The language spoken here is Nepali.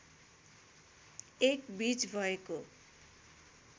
एक बीज भएको